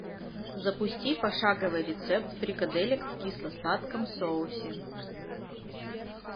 запусти пошаговый рецепт фрикаделек в кисло сладком соусе